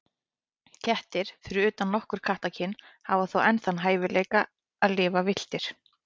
Kettir, fyrir utan nokkur kattakyn, hafa þó enn þann hæfileika að lifa villtir.